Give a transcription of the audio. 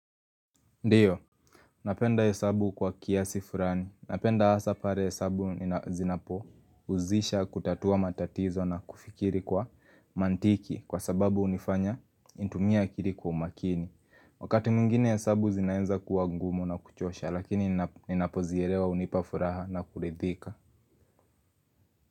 Ndio, napenda hesabu kwa kiasi furani. Napenda hasa pare hesabu zinapo uzisha kutatua matatizo na kufikiri kwa mantiki kwa sababu unifanya nitumie akiri kwa umakini. Wakati mwingine hesabu zinaenza kuwa ngumu na kuchosha lakini ninapo ninapozierewa unipafuraha na kurithika.